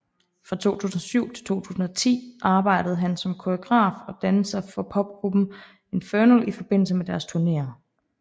Fra 2007 til 2010 arbejdede han som koreograf og danser for popgruppen Infernal i forbindelse med deres turnéer